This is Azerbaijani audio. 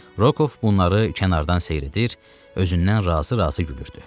Rokov bunları kənardan seyr edir, özündən razı-razı gülürdü.